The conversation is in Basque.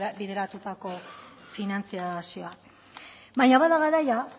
bideratutako finantzazioa baina bada garaia